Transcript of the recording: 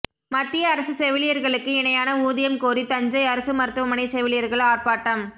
மத்திய அரசு செவிலியர்களுக்கு இணையான ஊதியம் கோரி தஞ்சை அரசு மருத்துவமனை செவிலியர்கள் ஆர்ப்பாட்டம்